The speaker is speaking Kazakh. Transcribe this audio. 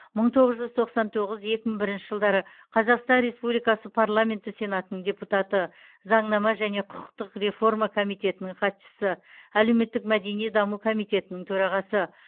мың тоғыз жүз тоқсан тоғыз екі мың бірінші жылдары қазақстан республикасы парламенті сенатының депутаты заңнама және құқықтық реформа комитетінің хатшысы әлеуметтік мәдени даму комитетінің төрағасы